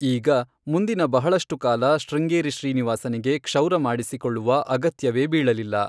ಈಗ, ಮುಂದಿನ ಬಹಳಷ್ಟು ಕಾಲ ಶೃಂಗೇರಿ ಶ್ರೀನಿವಾಸನಿಗೆ ಕ್ಷೌರ ಮಾಡಿಸಿಕೊಳ್ಳುವ ಅಗತ್ಯವೇ ಬೀಳಲಿಲ್ಲ.